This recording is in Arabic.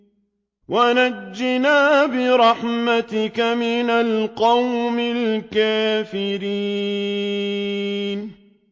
وَنَجِّنَا بِرَحْمَتِكَ مِنَ الْقَوْمِ الْكَافِرِينَ